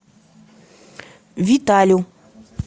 виталю